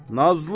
Nazlı.